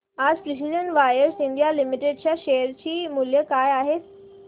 आज precision wires India limited च्या share चे मूल्य काय आहे